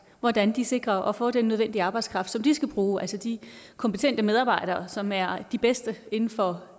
hvordan de sikrer at få den nødvendige arbejdskraft som de skal bruge altså de kompetente medarbejdere som er de bedste inden for